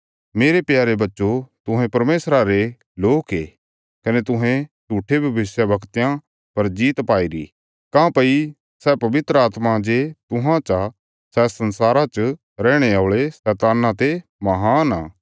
मेरे प्यारे बच्चो तुहें परमेशरा रे लोक ये कने तुहें झूट्ठे भविष्यवक्तयां पर जीत पाईरी काँह्भई सै पवित्र आत्मा जे तुहां चा सै संसारा च रैहणे औल़े शैतान्ना ते महान आ